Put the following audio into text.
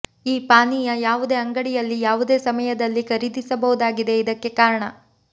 ಈ ಪಾನೀಯ ಯಾವುದೇ ಅಂಗಡಿಯಲ್ಲಿ ಯಾವುದೇ ಸಮಯದಲ್ಲಿ ಖರೀದಿಸಬಹುದಾಗಿದೆ ಇದಕ್ಕೆ ಕಾರಣ